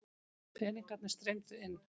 Peningarnir streymdu inn.